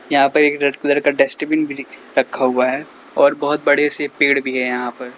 यहां पे red colour का डस्टबिन भी रखा हुआ है और बहोत बड़े से पेड़ भी है यहां पर।